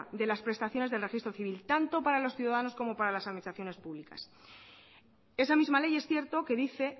de las prestaciones del registro civil tanto para los ciudadanos como para las administraciones públicas esa misma ley es cierto que dice